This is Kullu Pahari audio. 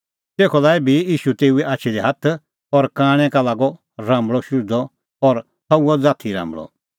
तेखअ लाऐ भी ईशू तेऊए आछी दी हाथ और कांणै का लागअ राम्बल़अ शुझदअ और सह हुअ ज़ाथी राम्बल़अ